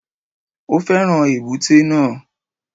Ó fẹ́ràn èbúté náà